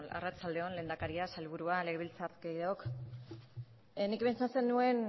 arratsalde on lehendakaria sailburua legebiltzar kideok nik pentsatzen nuen